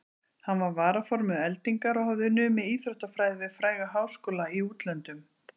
Hann var varaformaður Eldingar og hafði numið íþróttafræði við fræga háskóla í útlöndum.